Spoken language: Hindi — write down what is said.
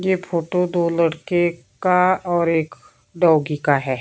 यह फोटो दो लड़के का और एक डॉगी का है।